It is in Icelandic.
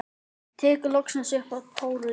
Tekur loksins upp tólið.